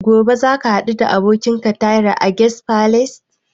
Gobe za ka haɗu da abokinka a Tahir Guest Palace?